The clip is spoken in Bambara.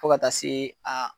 Fo ka taa se